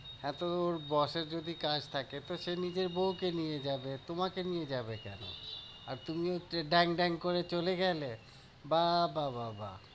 হ্যাঁ, তোর boss এর যদি কাজ থাকে তো সে নিজের বউকে নিয়ে যাবে, তোমাকে নিয়ে যাবে কেন? আর তুমিও ড্যাং ড্যাং করে গেলে? বাহ্, বাহ্, বাহ্, বাহ্ ।